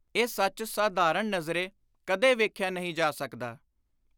ਇਹ ਸੱਚ ਸਾਧਾਰਣ ਨਜ਼ਰੇ ਕਦੇ ਵੇਖਿਆ ਨਹੀਂ ਜਾ ਸਕਦਾ।